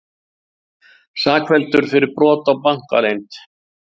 Sakfelldur fyrir brot á bankaleynd